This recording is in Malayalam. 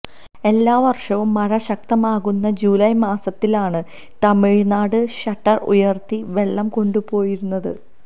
എല്ലാ വർഷവും മഴ ശക്തമാകുന്ന ജൂലായ് മാസത്തിലാണ് തമിഴ്നാട് ഷട്ടർ ഉയർത്തി വെള്ളം കൊണ്ടുപോയിരുന്നത്